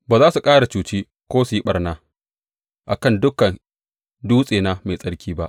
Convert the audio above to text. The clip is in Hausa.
Ba za su ƙara cuci ko su yi ɓarna a kan dukan dutsena mai tsarki ba,